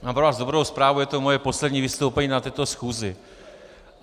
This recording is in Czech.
Mám pro vás dobrou zprávu, je to moje poslední vystoupení na této schůzi.